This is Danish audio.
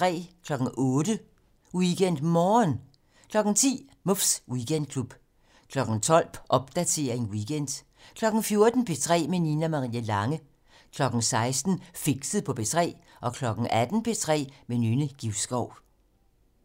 08:00: WeekendMorgen 10:00: Muffs Weekendklub 12:00: Popdatering weekend 14:00: P3 med Nina Marie Lange 16:00: Fixet på P3 18:00: P3 med Nynne Givskov